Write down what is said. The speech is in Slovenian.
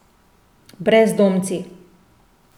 Brezdomci!